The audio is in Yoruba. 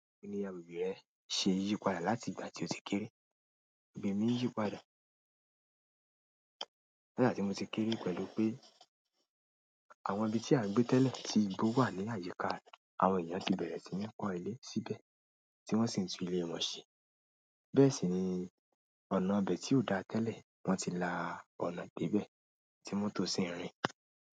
Kí i ni àwùjọ rẹ ṣe yípadà láti ìgbà tí o ti kéré. Agbègbè mi n yípadà nìgbà tí mo ti kéré pẹ̀lú pé àwọn ibi tí a ń gbé tẹ́lẹ̀ tí igbó wà ní àyíká, àwọn èèyàn ti bẹ̀rẹ̀ sí ní kọ́ ilé síbẹ̀ tí wọ́n sì ń tun ilé wọn ṣe. Bẹ́ẹ̀ sì ni ọ̀nà ibẹ̀ tí ò dáa tẹ́lẹ̀, wọ́n ti la ọ̀nà dé ibẹ̀ tí mọ́tò sì ń rìn.